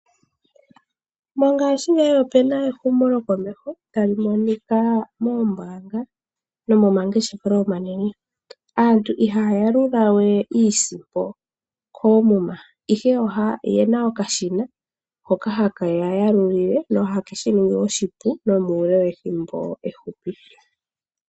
Mongashingeyi opena ehumokomeho lyokomeho tali monika moombanga nomomangeshefelo omanene. Aantu ihaya yalulawe iisimpo koomuma ihe ohaya oyena okashina hoka hakeya yalulile nohakeshi ningi oshipu nomuule wethimbo efupi.